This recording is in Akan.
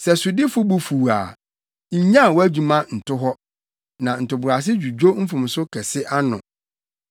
Sɛ sodifo bo fuw wo a, nnyaw wʼadwuma nto hɔ; na ntoboase dwudwo mfomso kɛse ano.